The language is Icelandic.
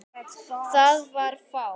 Það var fátt.